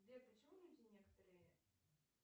сбер почему люди некоторые